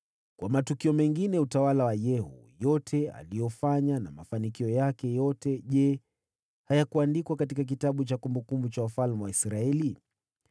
Kwa matukio mengine ya utawala wa Yehu, yote aliyofanya na mafanikio yake yote, je, hayakuandikwa katika kitabu cha kumbukumbu za wafalme wa Israeli?